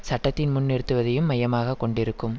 சட்டத்தின் முன் நிறுத்துவதையும் மையமாக கொண்டிருக்கும்